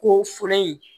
Ko fɔlɔ in